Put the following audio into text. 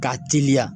K'a teliya